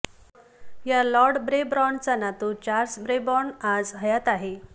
या लॉर्ड ब्रेबॉर्नचा नातू चार्ल्स ब्रेबॉर्न आज हयात आहे